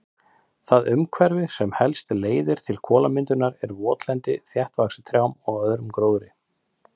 Það umhverfi sem helst leiðir til kolamyndunar er votlendi þéttvaxið trjám og öðrum gróðri.